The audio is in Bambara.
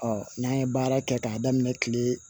Ɔ n'an ye baara kɛ k'a daminɛ kile